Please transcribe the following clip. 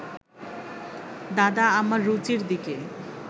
দাদা আমার রুচির দিকে